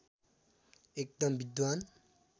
एकदम विद्वान